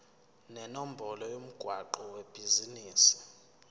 nenombolo yomgwaqo webhizinisi